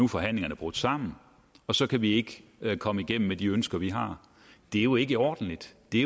forhandlingerne brudt sammen og så kan vi ikke komme igennem med de ønsker vi har det er jo ikke ordentligt det er